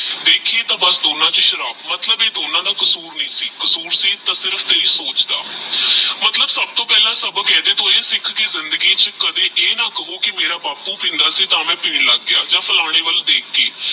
ਦੇਖੀ ਤਹ ਅਬਸ ਦੋਨੋ ਚ ਸਰਬ ਮਤਲਬ ਆਹ ਡੋਬੋ ਦਾ ਕਸੂਰ ਨਹੀ ਸੀ ਕਸੂਰ ਸੀ ਤਹ ਸਿਰਫ ਤੇਰੀ ਸੋਚ ਦਾ ਸਬ੍ਸੋ ਪਹਲਾ ਸਬਕ ਅਹਿ ਸਿਖ ਕੀ ਕਦੇ ਜ਼ਿੰਦਗੀ ਚ ਆਹ ਨਾ ਕਹੋ ਕੀ ਮੇਰਾ ਬਾਪੁ ਪੀਂਦਾ ਸੀ ਤਹ ਪੀਣ ਲਾਗ ਪਾਯਾ ਯਾ ਫਲਾਣੇ ਵਾਲ ਦੇਖ ਕ ਪਿੱਟੀ